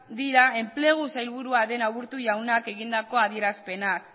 dira enplegu sailburua den aburto jaunak egindako adierazpenak